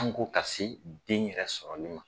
an ko ka se den yɛrɛ sɔrɔli ma.